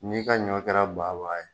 N'i ka ɲɔ kɛra baba ye